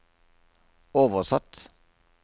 oversatt